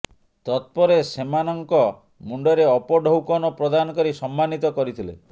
ତତପରେ ସେମାନଙ୍କ ମୁଣ୍ଡରେ ଉପଢୌକନ ପ୍ରଦାନ କରି ସମ୍ମାନିତ କରିଥିଲେ